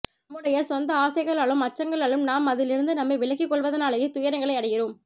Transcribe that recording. நம்முடைய சொந்த ஆசைகளாலும் அச்சங்களாலும் நாம் அதிலிருந்து நம்மை விலக்கிக்கொள்வதனாலேயே துயரங்களை அடைகிறோம்